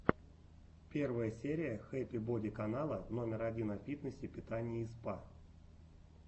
первая серия хэппи боди канала номер один о фитнесе питании и спа